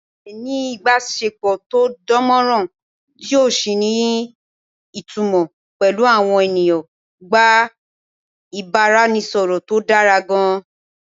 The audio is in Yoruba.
Àti lè ní ìbásepọ̀ tó dánmọ́nrán tí ò sì ní ìtumọ̀ pẹ̀lú àwọn ènìyàn gba ìbáraẹnisọ̀rọ̀ tó dára gan-an